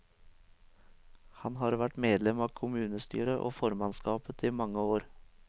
Han har vært medlem av kommunestyret og formannskapet i mange år.